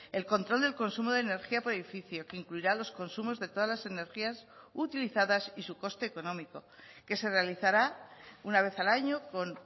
el control del consumo de energía por edificio que incluirá los consumos de todas las energías utilizadas y su coste económico que se realizará una vez al año con